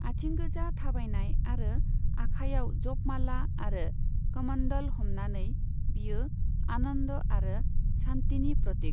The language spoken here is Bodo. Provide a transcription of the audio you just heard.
आइथिंगोजा थाबायनाय आरो आखाइयाव जप माला आरो कमण्डल हमनानै, बियो आनन्द आरो शान्तिनि प्रतीक।